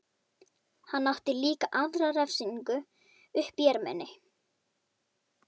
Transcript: Hann átti líka aðra refsingu uppi í erminni.